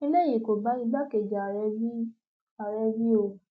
eléyìí kò bá igbákejì ààrẹ wí ààrẹ wí o